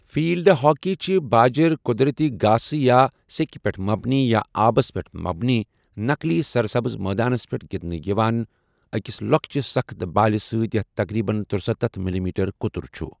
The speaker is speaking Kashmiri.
فیلڈ ہاکی چھِ باجر، قدرٔتی گاسہ، یا سٮ۪کھ پٮ۪ٹھ مبنی یا آبس پٮ۪ٹھ مبنی نَقلی سر سبز مٲدانَس پٮ۪ٹھ گنٛدٕنہٕ یِوان، أکِس لۄکچہِ، سَخٕت بالہِ سۭتۍ یتھ تقریباً ترٗسَتتھ ملِی میٹر قُطُر چھُ ۔